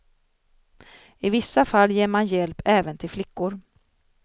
I vissa fall ger man hjälp även till flickor.